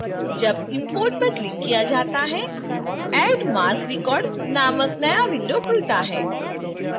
जब import पर clicked किया जाता है add marc record named नया window खुलता है